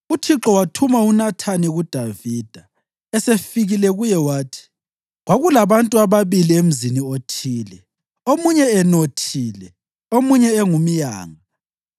UThixo wathuma uNathani kuDavida. Esefikile kuye wathi, “Kwakulabantu ababili emzini othile, omunye enothile omunye engumyanga.